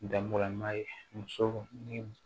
Dabɔlama ye muso ni